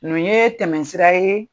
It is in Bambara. Nun yee tɛmɛsira ye